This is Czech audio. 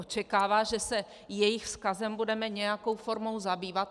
Očekávají, že se jejich vzkazem budeme nějakou formou zabývat.